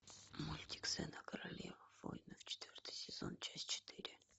мультик зена королева воинов четвертый сезон часть четыре